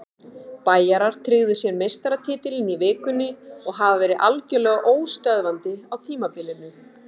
Bæjarar tryggðu sér meistaratitilinn í vikunni og hafa verið algjörlega óstöðvandi á tímabilinu.